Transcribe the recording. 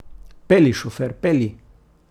Pelji, šofer, pelji!